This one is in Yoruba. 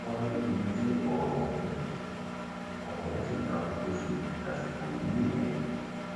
wọn ní ibi tí ọrọ ọhún ọrọ ọhún sì ta kókó sí dásìkò yìí nìyẹn